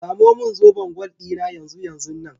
Samo min zoben gwal ɗina yanzu yanzunnan.